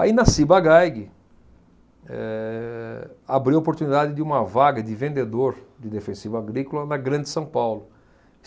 Aí, na Ciba-Geig, eh abriu a oportunidade de uma vaga de vendedor de defensivo agrícola na Grande São Paulo.